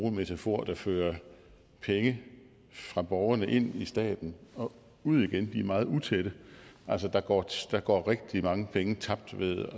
en metafor der fører penge fra borgerne ind i staten og ud igen er meget utætte altså der går der går rigtig mange penge tabt ved